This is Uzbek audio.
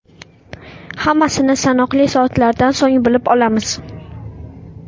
Hammasini sanoqli soatlardan so‘ng bilib olamiz.